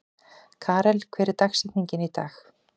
Karel, hver er dagsetningin í dag?